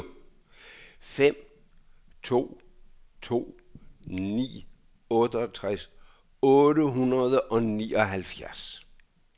fem to to ni otteogtres otte hundrede og nioghalvfjerds